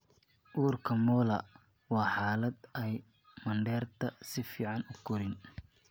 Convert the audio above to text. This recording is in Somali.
Uurka molar waa xaalad ay mandheerta si fiican u korin.